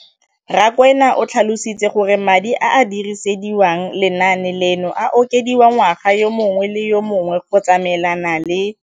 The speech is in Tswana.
Rakwena o tlhalositse gore madi a a dirisediwang lenaane leno a okediwa ngwaga yo mongwe le yo mongwe go tsamaelana le